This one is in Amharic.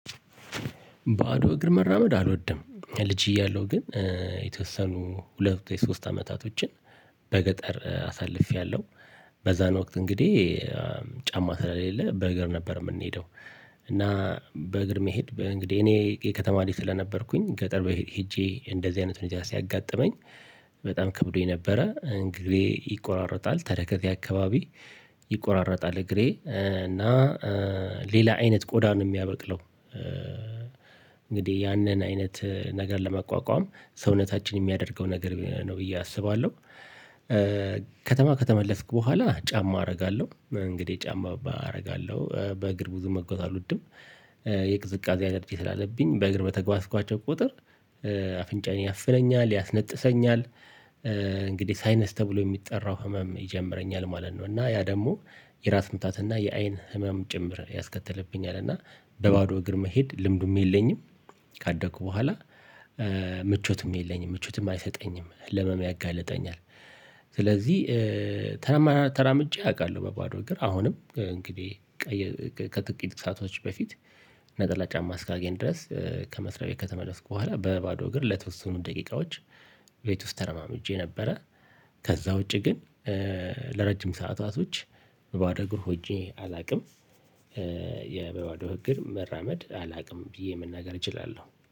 ባዶ እግር መራመድ አልወድም። ልጅ እያለሁ ግን የተወሰኑ ሁለት የሶስት አመታቶችን በገጠር አሳልፌያለሁ። በዛን ወቅት እንግዲህ ጫማ ስለሌለ በእግር ነበር የምንሄደው። ና በእግር መሄድ እንግዲህ እኔ ከተማ ልጅ ነበርኩኝ ገጠር ሄጄ እንደዚህ አይነቱን ሁኔታ ሲያጋጥመኝ በጣም ከብዶኝ ነበረ እንግዲህ ይቆራረጣል ተረከዜ አካባቢ ይቆራረጣል እግሬ እና ሌላ አይነት ቆዳን የሚያበቅለው እንግዲህ ያንን አይነት ነገር ለመቋቋም ሰውነታችን የሚያደርገው ነገር ነው ብዬ አስባለሁ። ከተማ ከተመለስኩ በኋላ ጫማ አደርጋለሁ እንግዲህ ጫማ አደርጋለሁ በእግር ብዙ መግባት አልወድም። የቅዝቃዜ አላሮጂ ስላለብኝ በእግር በተግባሽኳቸው ቁጥር አፍንጫን ያፍለኛል ያስነጥሰኛል። እንግዲህ ሳይነስ ተብሎ የሚጠራው ህመም ይጀምረኛል ማለት ነው። እና ያ ደግሞ የራስ ምታት እና የአይን ህመም ጭምር ያስከተልብኛል። እና በባዶ እግር መሄድ ልምዱም የለኝም። ካደኩ በኋላ ምቾትም የለኝም ምቾትም አይሰጠኝም ለህመም ያጋልጠኛል። ስለዚህ ተራምጄ አውቃለሁ በባዶ እግር አሁንም እንግዲህ። ከጥቂት ሰአቶች በፊት ነጠላ ጫማ ሳገኝ ድረስ ከመስሪያው ከተመለስኩ በኋላ በባዶ እግር ለተወሰኑ ደቂቃዎች ቤት ውስጥ ተረማምጄ ነበረ። ከዛ ውጪ ግን ለረጅም ሰዓታቶች በባዶ እግር ሂጄ አላውቅም። የበባዶ ህግር መራመድ አላውቅም ብዬ መናገር እችላለሁ